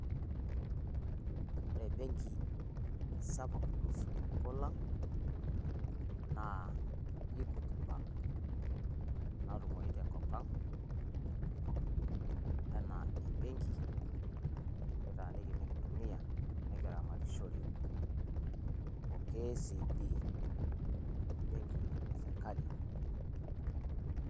Ore benki sapuk tosupuko lang' naa equity bank natumoi te kopang enaa ebenki nikitaaniki ninkitumia nikitaramarishore o Kcb benki esirkali.